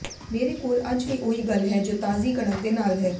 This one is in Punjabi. ਮੇਰੇ ਕੋਲ ਅੱਜ ਵੀ ਉਹੀ ਗੱਲ ਹੈ ਜੋ ਤਾਜ਼ੀ ਕਣਕ ਦੇ ਨਾਲ ਹੈ